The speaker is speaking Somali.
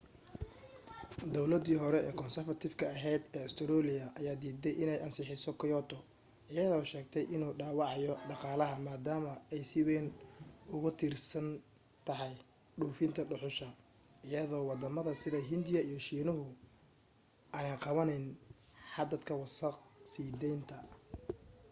dawladii hore konsarfatifka ahayd ee ustareeliya ayaa diiday inay ansixiso kyoto iyadoo sheegtay inuu dhaawacayo dhaqaalaha maadaama ay si wayn ugu tiirsan tahay dhoofinta dhuxusha iyadoo waddamada sida hindiya iyo shiinuhana aanay qabanayn xadadka wasakh sii daynta